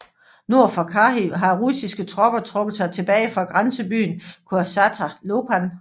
Nord for Kharkiv har russiske tropper trukket sig tilbage fra grænsebyen Kosatscha Lopan